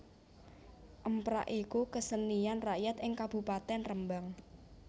Emprak iku kesenian rakyat ing Kabupatèn Rembang